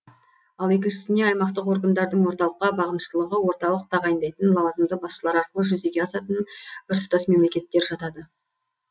ал екіншісіне аймақтық органдардың орталыққа бағыныштылығы орталық тағайындайтын лауазымды басшылар арқылы жүзеге асатын біртұтас мемлекеттер жатады